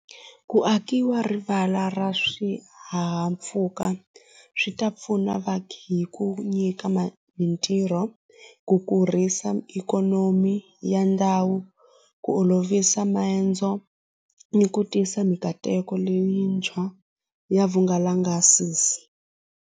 Ku akiwa rivala ra swihahampfuka swi ta pfuna va hi ku nyika mintirho ku kurisa ikhonomi ya ndhawu ku olovisa maendzo ni ku tisa mikateko leyintshwa ya vungalangasisi.